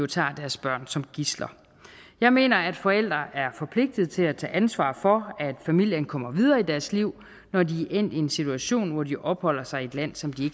tager deres børn som gidsler jeg mener at forældre er forpligtet til at tage ansvar for at familien kommer videre i deres liv når de er endt i en situation hvor de opholder sig i et land som de